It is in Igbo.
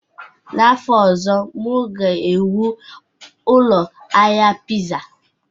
N'afọ ọzọ, m ga-ewu ụlọ ahịa Pizza